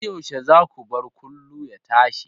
Har yaushe za ku bar kullu ya tashi?